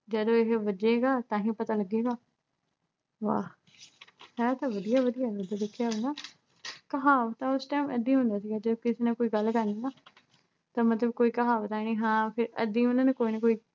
ਜਦੋਂ ਇਹੇ ਵੱਜੇਗਾ ਤਾਂਹੀ ਪਤਾ ਲੱਗੇਗਾ। ਵਾਹ, ਹੈ ਤਾਂ ਵਧੀਆ-ਵਧੀਆ, ਵਧੀਆ ਲਿਖਿਆ ਹੋਇਆ ਨਾ। ਕਹਾਵਤਾਂ ਉਸ time ਐਦਾ ਹੀ ਹੁੰਦਾ ਸੀਗਾ, ਜਦੋਂ ਕਿਸੇ ਨੇ ਕੋਈ ਗੱਲ ਕਰਨੀ ਨਾ ਤਾਂ ਮਤਲਬ ਕੋਈ ਕਹਾਵਤ ਐ ਨੀ ਹਾਂ ਫਿਰ ਐਦਾ ਹੀ ਉਹਨਾਂ ਨੇ ਕੋਈ ਨਾ ਕੋਈ